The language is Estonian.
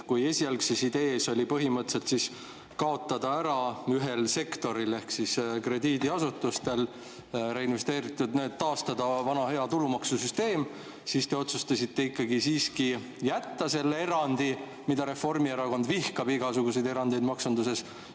Kui esialgne idee oli põhimõtteliselt kaotada see ära ühel sektoril ehk krediidiasutustel reinvesteeringute puhul, taastada vana hea tulumaksusüsteem, siis te otsustasite ikkagi jätta selle erandi, kuigi Reformierakond vihkab igasuguseid erandeid maksunduses.